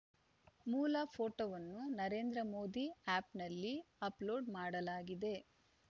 ಮೂಲ ಫೋಟೋವನ್ನು ನರೇಂದ್ರ ಮೋದಿ ಆ್ಯಪ್‌ನಲ್ಲಿ ಅಪ್‌ಲೋಡ್‌ ಮಾಡಲಾಗಿದೆ